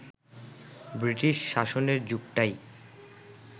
British শাসনের যুগটাই